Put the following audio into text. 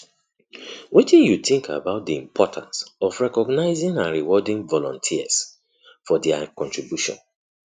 wetin you think about di importance of recongnizing and rewarding volunteers for dia contributions